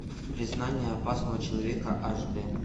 признание опасного человека аш д